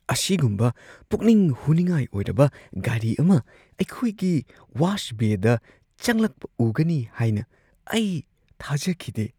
ꯑꯁꯤꯒꯨꯝꯕ ꯄꯨꯛꯅꯤꯡ ꯍꯨꯅꯤꯡꯉꯥꯏ ꯑꯣꯏꯔꯕ ꯒꯥꯔꯤ ꯑꯃ ꯑꯩꯈꯣꯏꯒꯤ ꯋꯥꯁ ꯕꯦꯗ ꯆꯪꯂꯛꯄ ꯎꯒꯅꯤ ꯍꯥꯏꯅ ꯑꯩ ꯊꯥꯖꯈꯤꯗꯦ ꯫